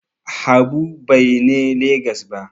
Habu Bai ne Legas ba